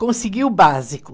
Consegui o básico.